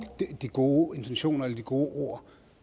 de gode intentioner eller de gode ord